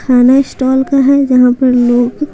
खाना स्टॉल का है जहां पर लोग--